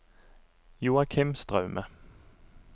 Joakim Straume